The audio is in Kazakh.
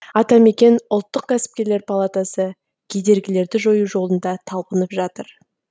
атамекен ұлттық кәсіпкерлер палатасы кедергілерді жою жолында талпынып жатыр